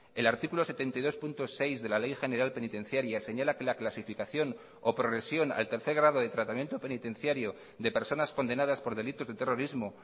el artículo setenta y dos punto seis de la ley general penitenciaria señala que la clasificación o progresión al tercer grado de tratamiento penitenciario de personas condenadas por delitos de terrorismo